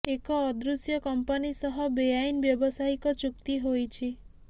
ଏକ ଅଦୃଶ୍ୟ କମ୍ପାନି ସହ ବେଆଇନ ବ୍ୟବସାୟିକ ଚୁକ୍ତି ହୋଇଛି